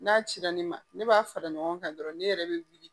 N'a cira ne ma ne b'a fara ɲɔgɔn kan dɔrɔn ne yɛrɛ bɛ wuli